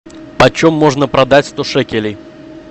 по чем можно продать сто шекелей